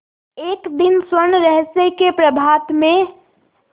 एक दिन स्वर्णरहस्य के प्रभात में